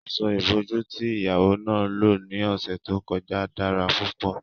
Aṣọ-ìbojú tí ìyàwó náà lò ní ọ̀sẹ̀ tó kọjá dára púpọ̀